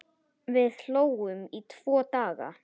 Við hlógum í tvo daga.